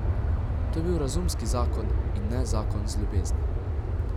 To je bil razumski zakon in ne zakon iz ljubezni.